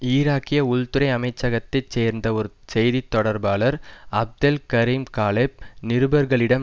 ஈராக்கிய உள்துறை அமைச்சகத்தை சேர்ந்த ஒரு செய்தி தொடர்பாளர் அப்தெல் கரிம் காலெப் நிருபர்களிடம்